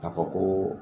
Ka fɔ ko